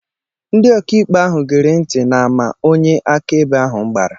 Ndị ọkàikpe ahụ gere ntị n'àmà onye akaebe ahụ gbara